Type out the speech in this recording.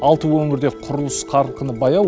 алты өңірде құрылыс қарқыны баяу